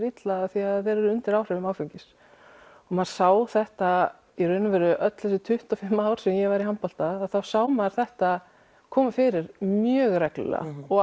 illa því þeir eru undir áhrifum áfengis og maður sá þetta í raun og veru öll þessi tuttugu og fimm ár sem ég var í handbolta þá sá maður þetta koma fyrir mjög reglulega og